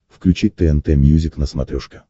включи тнт мьюзик на смотрешке